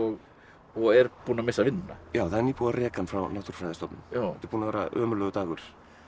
og er búinn að missa vinnuna já það er nýbúið að reka hann frá Náttúrufræðistofnun þetta er búinn að vera ömurlegur dagur